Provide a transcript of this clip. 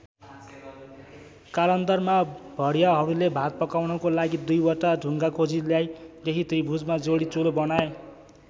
कालान्तरमा भरियाहरूले भात पकाउनको लागि २ वटा ढुङ्गा खोजी ल्याई यही त्रिभुजमा जोडी चुलो बनाए।